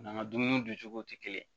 N'an ka dumuni duncogow tɛ kelen ye